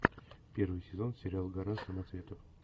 первый сезон сериал гора самоцветов